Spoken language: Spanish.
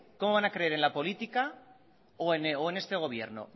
cómo van a creer en la política o en este gobierno